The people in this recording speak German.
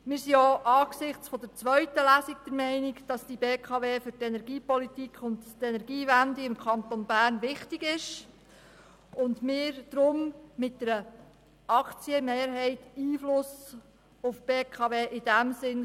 Auch angesichts der zweiten Lesung sind wir der Meinung, dass die BKW für die Energiepolitik und die Energiewende im Kanton Bern wichtig ist und wir deshalb mit einer Aktienmehrheit in diesem Sinne Einfluss auf die BKW nehmen können.